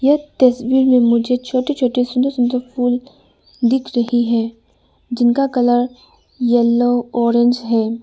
य तस्वीर में मुझे छोटे छोटे सुंदर सुंदर फूल दिख रहे हैं जिनका कलर येलो ऑरेंज है।